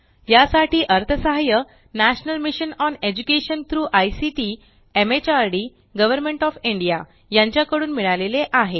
यासाठी अर्थसहाय्य ठे national mission on education through ICT MHRD government of India यांच्या कडून मिळाले आहे